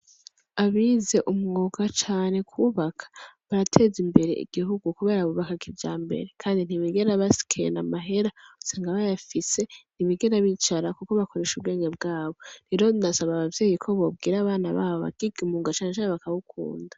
Abize umwuga cane kwubaka ,barateza imbere igihugu kubera bubaka kijambere ,kandi ntibigera bakena amahera, usanga bayafise ,ntibigera bicara kuko bakoresha ubwenge bwabo. Rero ndasaba abavyeyi ko bobwira abana babo bakiga imyuga cane cane bakawukunda .